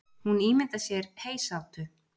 Hún ímyndar sér heysátu.